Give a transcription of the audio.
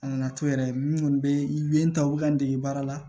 A nana to yɛrɛ min kɔni bɛ n ta u bɛ ka n dege baara la